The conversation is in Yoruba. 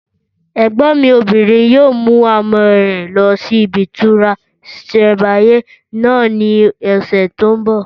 Ẹ̀gbọ́n mi obìnrin yóò mú àwọn ọmọ rẹ lọ sí ibi ìtura ìsẹ̀mbáyé náà ní ọ̀sẹ̀ tó n bọ̀